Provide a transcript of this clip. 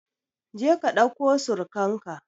Je ka ɗauko surkan ka!